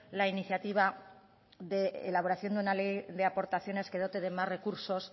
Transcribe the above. la iniciativa de la elaboración de una ley de aportaciones que dote de más recursos